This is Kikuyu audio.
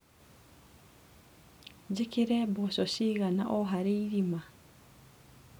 Njĩkĩre mboco cigana o harĩ irima.